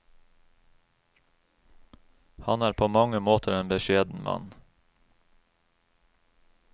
Han er på mange måter en beskjeden mann.